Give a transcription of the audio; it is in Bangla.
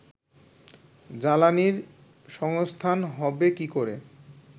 জ্বালানির সংস্থান হবে কী করে